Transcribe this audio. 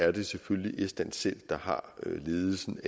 at det selvfølgelig er estland selv der har ledelsen